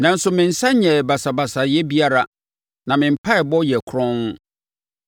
Nanso, me nsa nyɛɛ basabasayɛ biara na me mpaeɛbɔ yɛ kronn.